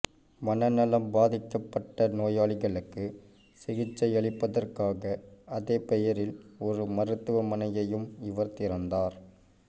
மனநலம் பாதிக்கப்பட்ட நோயாளிகளுக்கு சிகிச்சையளிப்பதற்காக அதே பெயரில் ஒரு மருத்துவமனையையும் இவர் திறந்தார்